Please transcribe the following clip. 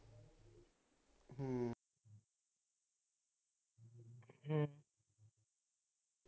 ਹਮ